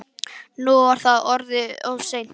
Nú var það orðið of seint.